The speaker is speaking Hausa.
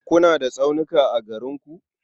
Kuna da tsaunuka a garin ku?